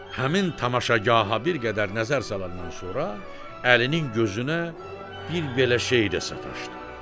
Həmin tamaşagaha bir qədər nəzər salandan sonra, Əlinin gözünə bir belə şey də sataşdı.